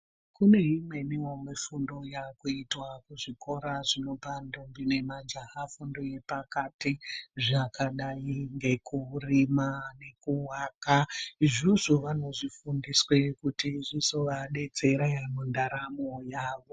Kuneimweniwo mifundo yakuitwa kuzvikora zvinopa mandombi nemajaha fundo yepakati zvakadai ngekurima, kuwaka izvozvo vanozvifundiswa kuti zvizovadetsera mundaramo yavo.